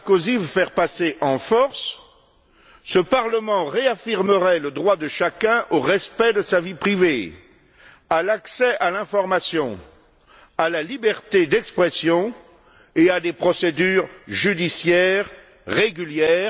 Sarkozy veut faire passer en force, ce Parlement réaffirmerait le droit de chacun au respect de sa vie privée, à l'accès à l'information, à la liberté d'expression et à des procédures judiciaires régulières.